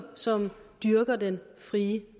som dyrker den frie